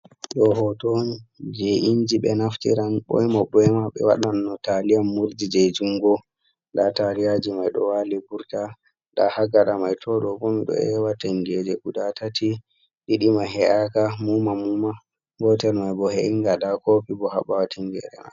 Ɗo hoto on je inji be naftiran bina boima. Be waɗan no taliyan murji je jungo N.da taliyaji mai ɗo wali burka. Nda ha gaɗa mai to ɗo bo miɗo ewa tingeje guɗa tati diɗi mai he’aka muma-muma, gotel mai bo he’inga ɗa kopi bo ha bawo tingerema.